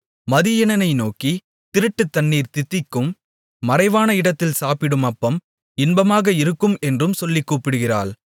மதியீனனை நோக்கி திருட்டுத்தண்ணீர் தித்திக்கும் மறைவான இடத்தில் சாப்பிடும் அப்பம் இன்பமாக இருக்கும் என்றும் சொல்லிக் கூப்பிடுகிறாள்